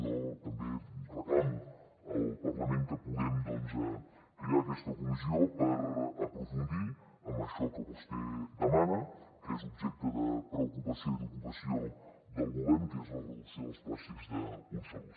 jo també reclamo al parlament que puguem doncs crear aquesta comissió per aprofundir en això que vostè demana que és objecte de preocupació i d’ocupació del govern que és la reducció dels plàstics d’un sol ús